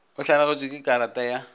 o lahlegetšwe ke karata ya